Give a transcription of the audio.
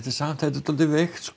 samt þetta er dálítið veikt